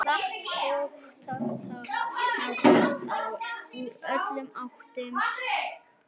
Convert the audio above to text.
Hratt fótatak nálgaðist þá úr öllum áttum.